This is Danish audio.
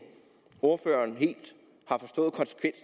ordføreren helt